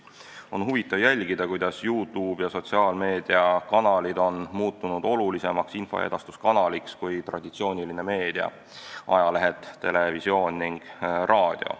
On huvitav jälgida, kuidas YouTube ja sotsiaalmeediakanalid on muutunud olulisemaks infoedastuskanaliks kui traditsiooniline meedia – ajalehed, televisioon ning raadio.